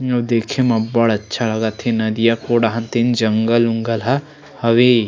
जो देखे में अब्बड़ अच्छा लगा थे नदिया खोर डाहन तेन जंगल उंगल ह हवे।